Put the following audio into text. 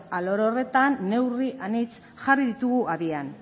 alor horretan neurri anitz jarri ditugu abian